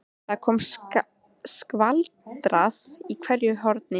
Það er skvaldrað í hverju horni.